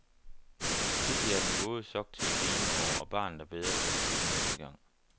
Pludselig er den våde sok til at grine over, og barnet er bedre rustet til næste gang.